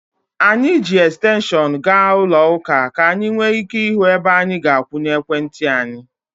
Anyị ji ekstenshọnụ gaa ụlọ ụka ka anyị nwee ike ịhụ ebe anyị ga-akwụnye ekwentị anyị.